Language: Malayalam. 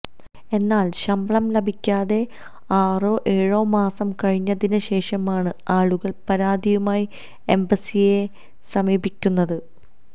എന്നാല് ശമ്പളം ലഭിക്കാതെ ആറോ ഏഴോ മാസം കഴിഞ്ഞതിന് ശേഷമാണ് ആളുകള് പരാതിയുമായി എംബസിയെ സമീപിക്കുന്നത്